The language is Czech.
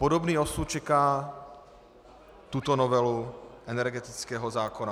Podobný osud čeká tuto novelu energetického zákona.